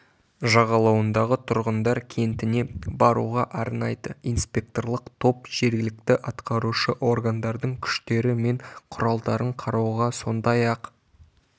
жағалауындағы тұрғындар кентіне баруға арнайды инспекторлық топ жергілікті атқарушы органдардың күштері мен құралдарын қарауға сондай-ақ